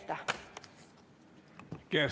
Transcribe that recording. Aitäh!